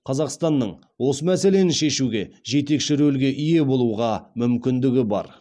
қазақстанның осы мәселені шешуде жетекші рөлге ие болуға мүмкіндігі бар